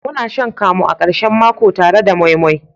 Muna shan kamu a karshen mako tare da moi moi.